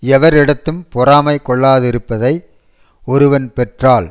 எவர் இடத்தும் பொறாமை கொள்ளாதிருப்பதை ஒருவன் பெற்றால்